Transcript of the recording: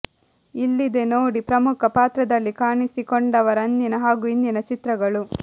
ಇಲ್ಲಿದೆ ನೋಡಿ ಪ್ರಮುಖ ಪಾತ್ರದಲ್ಲಿ ಕಾಣಿಸಿಕೊಂಡವರ ಅಂದಿನ ಹಾಗೂ ಇಂದಿನ ಚಿತ್ರಗಳು